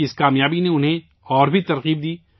ان کی اس کامیابی نے انہیں اور تحریک دی